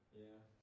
Ja